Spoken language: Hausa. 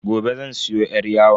Gobe zan siyo yar yawon.